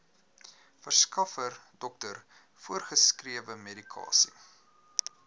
verskaffer dokter voorgeskrewemedikasie